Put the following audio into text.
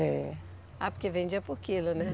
É. Ah, porque vendia por quilo, né?